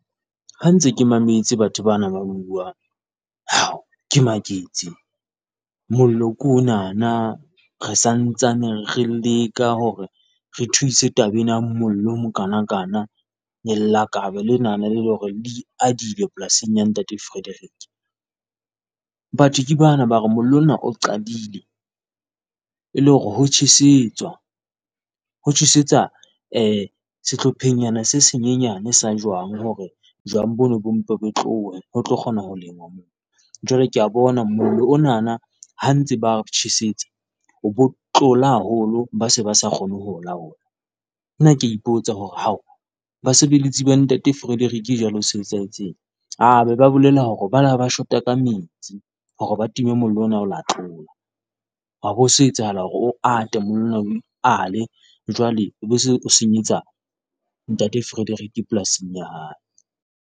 Ha ke ntse ke mametse batho bana ba bua, hao ke maketse mollo ke onana re sa ntsane re leka hore re thuse taba ena mollo o mokanakana, lelakabe lena leo e leng hore le iadile polasing ya ntate Frederick. Batho ke bana ba re mollo ona o qadile, e le hore ho tjhesetswa ho tjhesetswa sehlophengnyana se senyenyane sa jwang hore jwang boo bo mpe bo tlohe, ho tlo kgona ho lenngwa moo. Jwale ke a bona mollo ona ha ba ntse ba tjhesetsa o be o tlola haholo, ba se ba sa kgone ho o laola. Nna ke a ipotsa hore hao, basebeletsi ba ntate Frederick jwalo ho se ho etsahetseng, ba be ba bolela hore ba ne ba shota ka metsi hore ba time mollo ona o ileng wa tlola. Ha be ho se ho etsahala hore o ate, mollo ona o ikale, jwale o be o se o senyetsa ntate Frederick polasing ya hae.